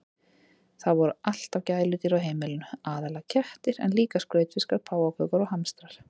Það voru alltaf gæludýr á heimilinu, aðallega kettir en líka skrautfiskar, páfagaukar og hamstrar.